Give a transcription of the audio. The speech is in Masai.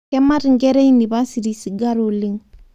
Kemat nkera ee inipasiti sigara oleng